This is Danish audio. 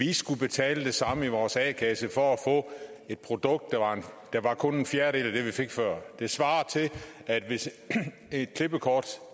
vi skulle betale det samme i vores a kasse for at få et produkt der kun var en fjerdedel af det vi fik før det svarer til at et klippekort